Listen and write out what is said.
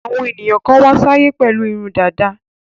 Àwọn ènìyàn kan wá sáyé pẹ̀lú irun dàda.